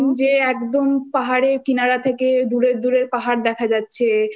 পাঠিয়েছিলিস যে একদম পাহাড়ের কিনারা থেকে দুরের